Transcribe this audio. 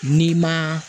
N'i ma